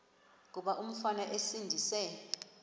kuba umfana esindise